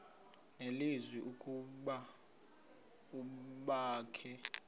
nelizwi ukuba abakhe